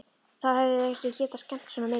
Þá hefðu þau ekki getað skemmt svona mikið.